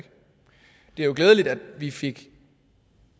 jo glædeligt at vi fik